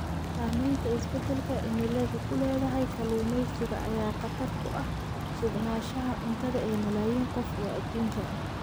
Saamaynta isbeddelka cimiladu ku leedahay kalluumaysiga ayaa khatar ku ah sugnaanshaha cuntada ee malaayiin qof oo adduunka ah.